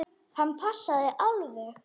Hann passaði alveg.